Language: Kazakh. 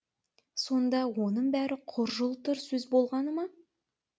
сонда оның бәрі құр жылтыр сөз болғаны ма